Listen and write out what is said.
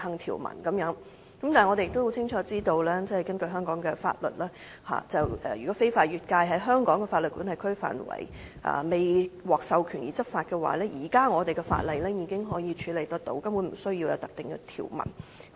我們亦很清楚知道，如果有人員非法越界，在香港司法管轄區範圍未獲授權執法，現時本港的法例已經處理得到，根本不需要另訂條文。